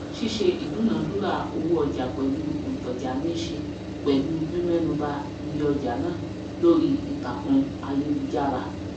síṣe ìdúnàádúrà owó ọjà pẹlu òntàjà níṣe pẹlu mímẹnu ba iye ojà náà lórí ìtàkùn ayélujára